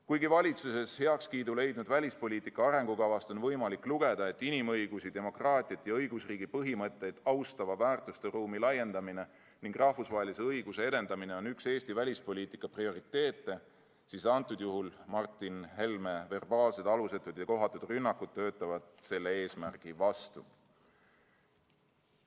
Kuigi valitsuses heakskiidu leidnud välispoliitika arengukavast on võimalik lugeda, et inimõigusi, demokraatiat ja õigusriigi põhimõtteid austava väärtusteruumi laiendamine ning rahvusvahelise õiguse edendamine on üks Eesti välispoliitika prioriteete, siis antud juhul töötavad Martin Helme alusetud ja kohatud verbaalsed rünnakud selle eesmärgi vastu.